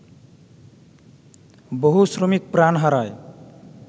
বহু শ্রমিক প্রাণ হারায়